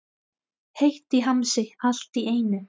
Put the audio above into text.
Heitt í hamsi allt í einu.